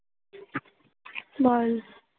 বল